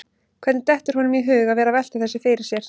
Hvernig dettur honum í hug að vera að velta þessu fyrir sér?